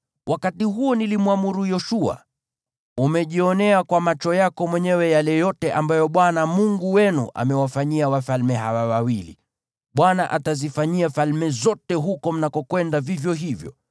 Wakati huo nilimwamuru Yoshua, “Umejionea kwa macho yako mwenyewe yale yote ambayo Bwana Mungu wenu amewafanyia wafalme hawa wawili. Bwana atazifanyia falme zote huko mnakokwenda vivyo hivyo.